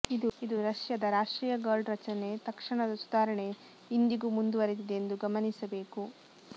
ಇದು ರಷ್ಯಾದ ರಾಷ್ಟ್ರೀಯ ಗಾರ್ಡ್ ರಚನೆ ತಕ್ಷಣದ ಸುಧಾರಣೆ ಇಂದಿಗೂ ಮುಂದುವರೆದಿದೆ ಎಂದು ಗಮನಿಸಬೇಕು